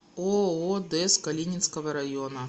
ооо дез калининского района